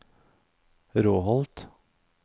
Råholt